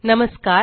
नमस्कार